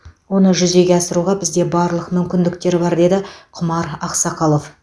оны жүзеге асыруға бізде барлық мүмкіндік бар деді құмар ақсақалов